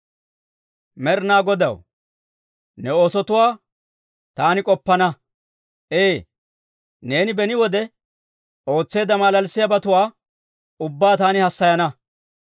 Med'inaa Godaw, ne oosotuwaa taani k'oppana. Ee; neeni beni wode, ootseedda malalissiyaabatuwaa ubbaa taani hassayana.